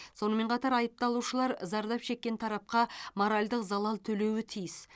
сонымен қатар айыпталушылар зардап шеккен тарапқа моральдық залал төлеуі тиіс